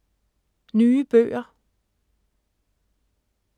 Nye bøger